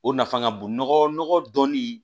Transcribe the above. O nafa ka bon nɔgɔ dɔɔni